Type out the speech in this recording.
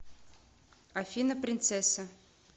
афина принцесса